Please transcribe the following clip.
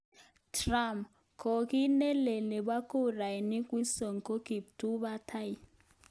Trump:Kokiit nelel nebo kurani Wisconsin ko kiptubatai.